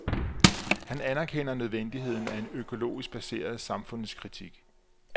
Han anerkender nødvendigheden af en økologisk baseret samfundskritik.